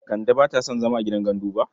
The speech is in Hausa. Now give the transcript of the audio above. Kande ba ta son zama a gidan gandu ba.